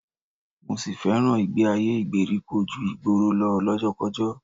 Mo sì fẹ́ràn ìgbé-ayé ìgbèríko ju ti ìgboro lọ lọ́jọ́kọ́kọ́